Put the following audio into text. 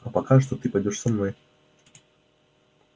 а пока что ты пойдёшь со мной